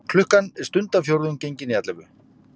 Klukkan er stundarfjórðung gengin í ellefu.